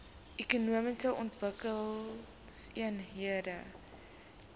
ekonomiese ontwikkelingseenhede eoes